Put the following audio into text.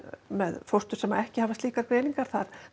með fóstur sem ekki hafa slíkar greiningar þar